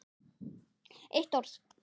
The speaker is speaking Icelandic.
Eitt orð